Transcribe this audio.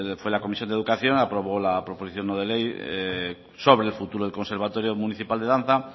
fue la comisión de educación aprobó la proposición no de ley sobre el futuro del conservatorio municipal de danza